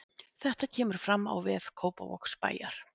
Þetta kemur fram á vef Kópavogsbæjar